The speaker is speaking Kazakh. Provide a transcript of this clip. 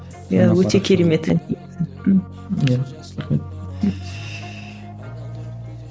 иә өте керемет ән иә рахмет